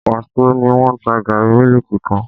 Wàsó ni wọ́n ta gààrí mílíkì kan